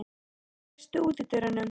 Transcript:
Jóhann, læstu útidyrunum.